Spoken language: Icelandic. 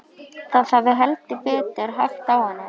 Það hafði heldur betur hægt á henni.